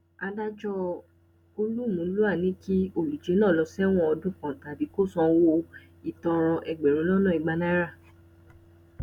adájọ olúmulúà ní kí olùjẹ náà lọọ sẹwọn ọdún kan tàbí kó san owó ìtanràn ẹgbẹrún lọnà ìgbà náírà